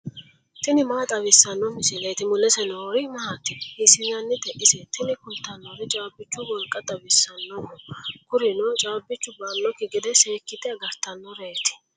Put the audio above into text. tini maa xawissanno misileeti ? mulese noori maati ? hiissinannite ise ? tini kultannori caabbichu wolqa xawisannoho. kurino caabbichu ba"annokki gede seekkite agartannoreeti.